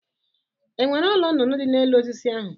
E nwere ụlọ nụnụnụ dị n'elu osisi ahụ